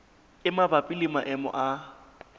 e mabapi le maemo a